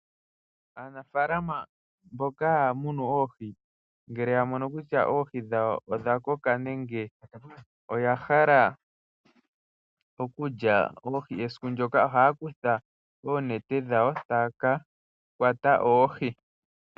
Aanafaalama mboka haa muna oohi ngele ya mono kutya odha koka, nenge oya hala okulya oohi esiku ndoka ohaa kutha oonete dhawo e taa ka kwata oohi.